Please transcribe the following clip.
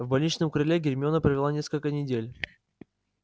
в больничном крыле гермиона провела несколько недель